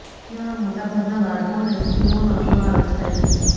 જેમાં મોટાભાગના બાળકો અને સ્ત્રીઓનો સમાવેશ થાય છે